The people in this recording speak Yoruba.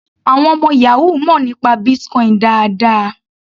Àwọn ọmọ yahoo mọ̀ nípa Bitcoin dáadáa.